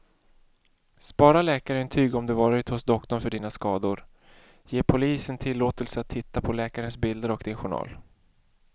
Spara läkarintyg om du varit hos doktorn för dina skador, ge polisen tillåtelse att titta på läkarens bilder och din journal.